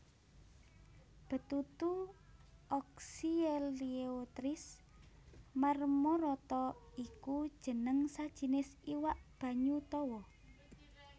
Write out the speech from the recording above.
Betutu Oxyeleotris marmorata iku jeneng sajinis iwak banyu tawa